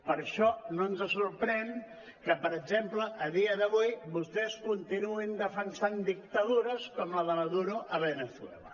per això no ens sorprèn que per exemple a dia d’avui vostès continuïn defensant dictadures com la de maduro a veneçuela